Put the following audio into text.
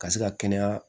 Ka se ka kɛnɛya